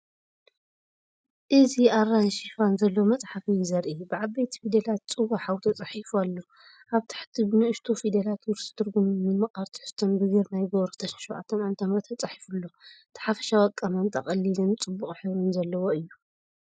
እzi ኣራንሺ ሽፋን ዘለዎ መጽሓፍ እዩ ዘርኢ። ብዓበይቲ ፊደላት“ፅዋ ሓው”ተጻሒፉ ኣሎ። ኣብ ታሕቲ ብንኣሽቱ ፊደላት“ውርሲ ትርጉምን ምምቃር ተሕዝቶን" ብግርማይ ገብሩ 2007ዓ/ም ተጻሒፉ ኣሎ። እቲ ሓፈሻዊ ኣቀማምጣ ቀሊልን ጽቡቕ ሕብሪ ዘለዎን እዩ።